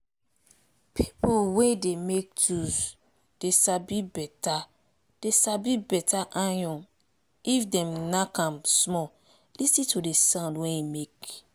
pipul wey dey make tools dey sabi beta dey sabi beta iron if dem nack am small lis ten to d sound wey e make.